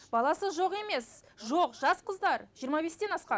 баласы жоқ емес жоқ жас қыздар жиырма бестен асқан